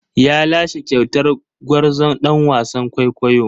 Ya lashe kyautar gwarzon ɗan wasan kwaikwayo.